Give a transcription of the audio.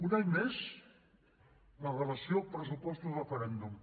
un any més la relació pressupostos referèndum